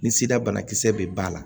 Ni sira banakisɛ bɛ ba la